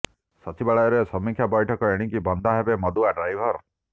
ସଚିବାଳୟରେ ସମୀକ୍ଷା ବୈଠକ ଏଣିକି ବନ୍ଧା ହେବେ ମଦୁଆ ଡ୍ରାଇଭର